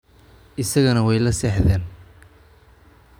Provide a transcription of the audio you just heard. Isagana way la seexdeen